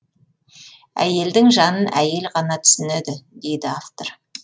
әйелдің жанын әйел ғана түсінеді дейді автор